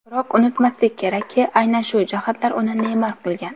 Biroq unutmaslik kerakki, aynan shu jihatlar uni Neymar qilgan.